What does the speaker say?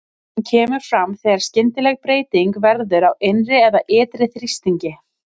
Hún kemur fram þegar skyndileg breyting verður á innri eða ytri þrýstingi.